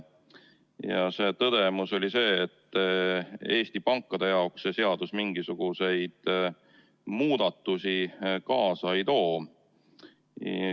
Ja tõdemus oli see, et Eesti pankade jaoks see seadus mingisuguseid muudatusi kaasa ei too.